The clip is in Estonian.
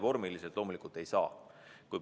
Vormiliselt loomulikult ei saa.